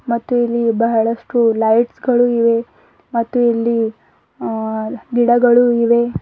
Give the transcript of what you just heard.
ಮತ್ತು ಇಲ್ಲಿ ಬಹಳಷ್ಟು ಲೈಟ್ಸ್ ಳು ಇವೆ ಮತ್ತು ಇಲ್ಲಿ ಗಿಡಗಳು ಇವೆ.